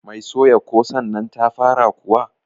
Mai soya kosannnan ta fara kuwa?